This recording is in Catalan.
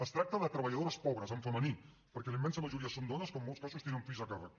es tracta de treballadores pobres en femení perquè la immensa majoria són dones que en molts casos tenen fills a càrrec